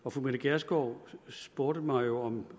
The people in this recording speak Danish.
for fru mette gjerskov spurgte mig jo om